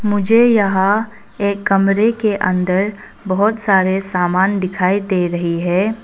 मुझे यहां एक कमरे के अंदर बहोत सारे सामान दिखाई दे रही हैं।